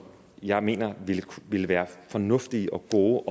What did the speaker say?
jeg mener vil være fornuftige og gode